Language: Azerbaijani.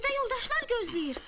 Burda yoldaşlar gözləyir.